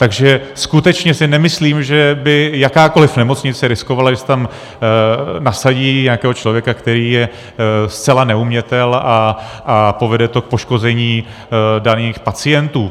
Takže skutečně si nemyslím, že by jakákoliv nemocnice riskovala, že si tam nasadí nějakého člověka, který je zcela neumětel, a povede to k poškození daných pacientů.